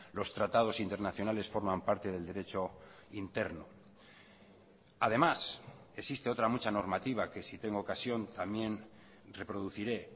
los tratados internacionales forman parte del derecho interno además existe otra mucha normativa que si tengo ocasión también reproduciré